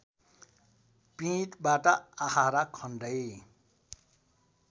पीँधबाट आहारा खन्दै